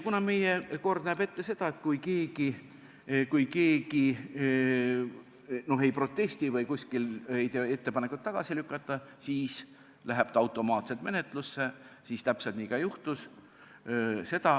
Kuna meie kord näeb ette, et kui keegi ei protesti ega tee ettepanekut eelnõu tagasi lükata, siis läheb ta automaatselt menetlusse, siis täpselt nii ka juhtus.